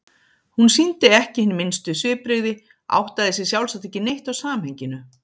Hún sýndi ekki hin minnstu svipbrigði, áttaði sig sjálfsagt ekki neitt á samhenginu.